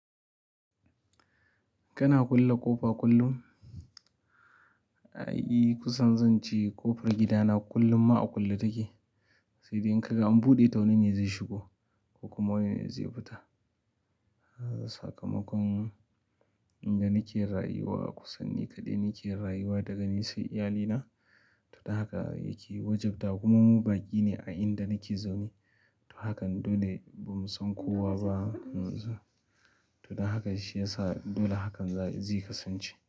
Kana kulle ƙofa kullum? I, kusan zan ce ƙofar gidana kullum ma a kulle take, sai dai in ka ga an buɗe ta wani ne zai shigo ko kuma wani ne zai fita. Sakamakon inda nake rayuwa kusan ni kaɗai nake rayuwa daga nisai iyalina, to don haka yake wajabta kuma mu baƙi ne a inda nake zaune. To hakan dole, ba mu san kowa ba. Todan haka shiyasa dole hakan zai kasance.